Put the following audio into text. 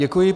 Děkuji.